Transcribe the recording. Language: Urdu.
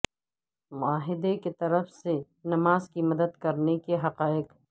معاہدے کی طرف سے نماز کی مدد کرنے کے حقائق